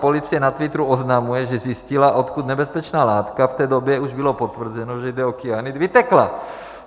Policie na Twitteru oznamuje, že zjistila, odkud nebezpečná látka - v té době už bylo potvrzeno, že jde o kyanid - vytekla.